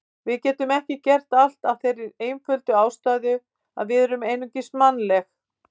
Við getum ekki gert allt af þeirri einföldu ástæðu að við erum einungis mannleg.